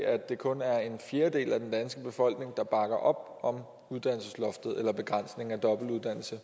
at det kun er en fjerdedel af den danske befolkning der bakker op om uddannelsesloftet eller begrænsningen af dobbeltuddannelse